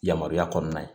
Yamaruya kɔnɔna ye